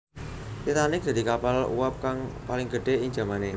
Titanic dadi kapal uwab kang paling gedhé ing jamané